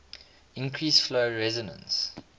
increase flow resistance